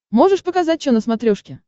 можешь показать че на смотрешке